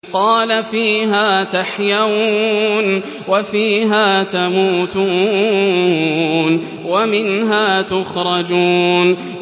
قَالَ فِيهَا تَحْيَوْنَ وَفِيهَا تَمُوتُونَ وَمِنْهَا تُخْرَجُونَ